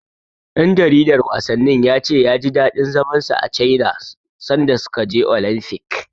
Ɗan jaridar wasannin ya ce ya ji daɗin zaman sa a Caina sanda suka je Olamfik.